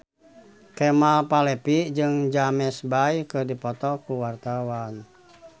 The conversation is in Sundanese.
Kemal Palevi jeung James Bay keur dipoto ku wartawan